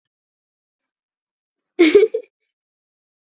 Einn leikur fór fram í Landsbankadeild karla nú í kvöld.